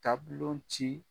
Tablon ci